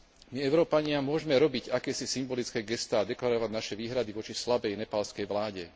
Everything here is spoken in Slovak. My Európania môžme robiť akési symbolické gestá a deklarovať naše výhrady voči slabej nepálskej vláde.